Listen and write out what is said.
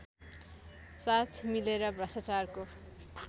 साथ मिलेर भ्रष्टाचारको